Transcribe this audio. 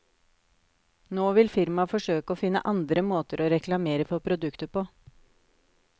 Nå vil firmaet forsøke å finne andre måter å reklamere for produktet på.